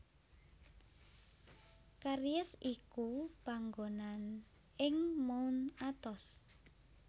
Karyes iku panggonan ing Mount Athos